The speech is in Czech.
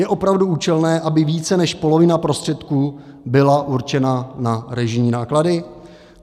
Je opravdu účelné, aby více než polovina prostředků byla určena na režijní náklady?